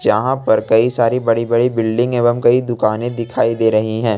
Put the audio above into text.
जहां पर कई सारी बड़ी बड़ी बिल्डिंग एवं कई दुकानें दिखाई दे रही हैं।